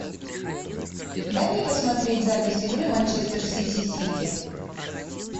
дай мне посмотреть запись игры манчестер сити сити